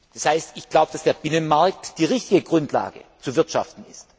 Das heißt, ich glaube, dass der Binnenmarkt die richtige Grundlage ist, um zu wirtschaften.